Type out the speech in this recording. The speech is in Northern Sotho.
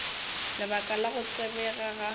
lebaka la go tsebega ga